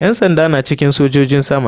Yan sanda na cikin sojojin sama